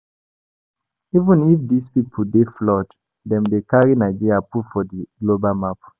Even if these people dey flawed, dem dey carry Nigeria put for di global map